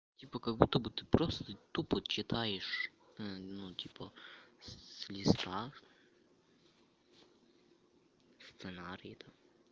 типа как будто бы ты просто тупо читаешь ну типа с листа сценарии там